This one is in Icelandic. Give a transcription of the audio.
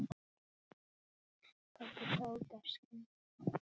Kobbi tók af skarið.